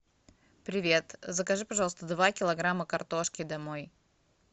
привет закажи пожалуйста два килограмма картошки домой